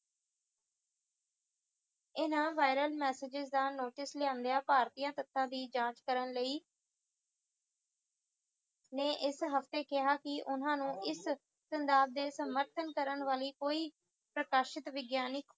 ਇਹਨਾਂ viral messages ਦਾ notice ਲਿਓਂਦੀਆਂ ਭਾਰਤੀਆਂ ਸੱਤਾਂ ਦੀ ਜਾਂਚ ਕਰਨ ਲਈ ਨੇ ਇਸ ਹਫਤੇ ਕਿਹਾ ਸੀ ਓਹਨਾ ਨੂੰ ਇਸ ਦੀ ਸਮਰਥਨ ਕਰਨ ਵਾਲੀ ਕੋਈ ਪ੍ਰਕਾਸ਼ਿਤ ਵਿਗਿਆਨਿਕ